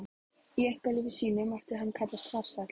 Í einkalífi sínu mátti hann kallast farsæll.